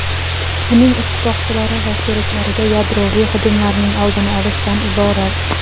uning ittifoqchilari va sheriklariga yadroviy hujumlarning oldini olishdan iborat.